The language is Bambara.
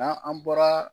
N'an an bɔra